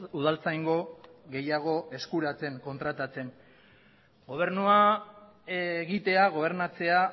udaltzaingo gehiago eskuratzen kontratatzen gobernua egitea gobernatzea